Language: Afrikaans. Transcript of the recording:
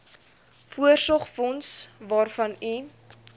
voorsorgsfonds waarvan u